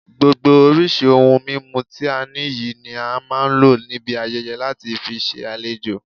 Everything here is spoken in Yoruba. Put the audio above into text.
Gbogbo oríṣi ohun mímu ti a ní yìí ni a máa ń lo níbi ayẹyẹ láti fi ṣe àlejò